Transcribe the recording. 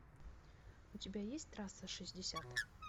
у тебя есть трасса шестьдесят